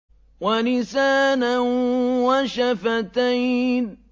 وَلِسَانًا وَشَفَتَيْنِ